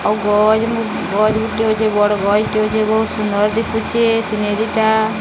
ବଡ଼ ଗଛ୍ ଟେ ଅଛେ। ବୋହୁତ୍ ସୁନ୍ଦର ଦିଶୁଚେ ସିନେରୀ ଟା।